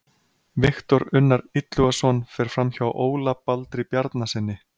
Viktor Unnar Illugason fer framhjá Óla Baldri Bjarnasyni.